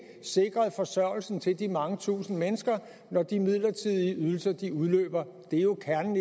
sikret forsørgelse til de mange tusinde mennesker når de midlertidige ydelser udløber det er jo kernen